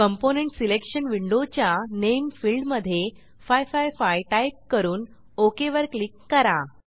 component selection विंडोच्या name फिल्डमधे 555 type करून ओक वर क्लिक करा